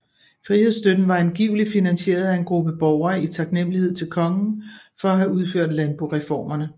Frihedsstøtten var angiveligt finansieret af en gruppe borgere i taknemmelighed til kongen for at have udført landboreformerne